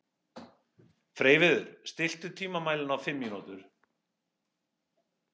Freyviður, stilltu tímamælinn á fimm mínútur.